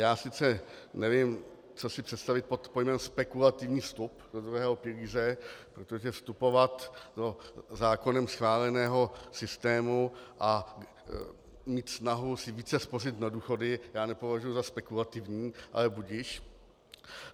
Já sice nevím, co si představit pod pojmem spekulativní vstup do druhého pilíře, protože vstupovat do zákonem schváleného systému a mít snahu si více spořit na důchody já nepovažuji za spekulativní, ale budiž.